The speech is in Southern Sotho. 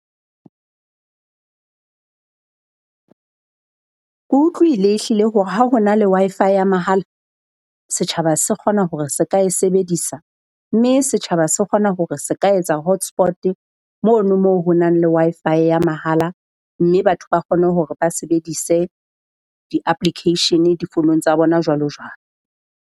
Ke utlwile ehlile hore ha ho na le Wi-Fi ya mahala, setjhaba se kgona hore se ka e sebedisa. Mme setjhaba se kgona hore se ka etsa hotspot mono mo ho nang le Wi-Fi ya mahala. Mme batho ba kgone hore ba sebedise di-application-e difonong tsa bona, jwalo jwalo.